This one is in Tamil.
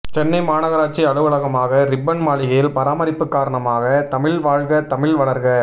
சென்னை மாநகராட்சி அலுவலகமான ரிப்பன் மாளிகையில் பராமரிப்பு காரணமாக தமிழ் வாழ்க தமிழ் வளர்க